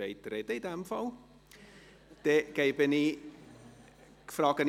Wenn Sie sprechen wollen, in dem Fall.